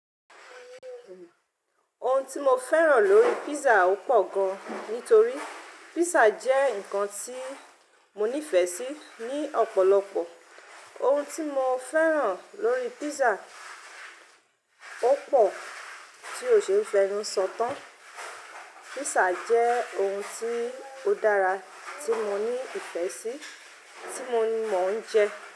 Ohun tí mo fẹ́ràn lórí pizza ò pọ̀ gan, nítorí pizza jẹ́ nǹkan tí mo nífẹ̀ẹ́ sí ní ọ̀pọ̀lọpọ̀. Ohun tí mo fẹ́ràn lórí pizza ò pọ̀ tí o ṣe é fẹ́nu sọ tán. Pizza jẹ́ ohun tí ó dára tí mo ní ìfẹ́ sí, tí mo ń jẹ.